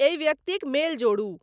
एहि व्यक्तिक मेल जोडू